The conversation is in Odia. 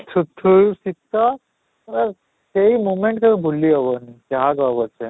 ଥୁର ଥୁର ଶୀତ ଆଃ ସେଇ moment ସବୁ ଭୁଲି ହେବନି ଯାହା କହ ପଛେ